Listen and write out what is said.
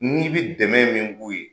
N'i bɛ dɛmɛ min k'u ye